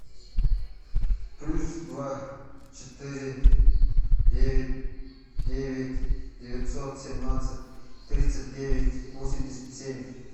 плюс два четыре девять девять девятьсот семнадцать тридцать девять восемьдесят семь